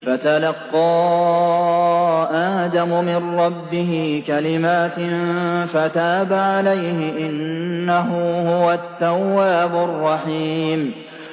فَتَلَقَّىٰ آدَمُ مِن رَّبِّهِ كَلِمَاتٍ فَتَابَ عَلَيْهِ ۚ إِنَّهُ هُوَ التَّوَّابُ الرَّحِيمُ